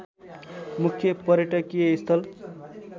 मुख्य पर्यटकीय स्थल